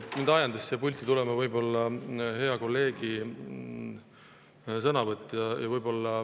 Mind ajendas siia pulti tulema hea kolleegi sõnavõtt.